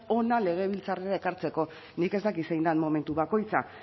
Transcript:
hona legebiltzarrera ekartzeko nik ez dakit zein den momentu bakoitza